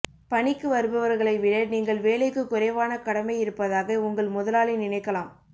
பணிக்கு வருபவர்களை விட நீங்கள் வேலைக்கு குறைவான கடமை இருப்பதாக உங்கள் முதலாளி நினைக்கலாம்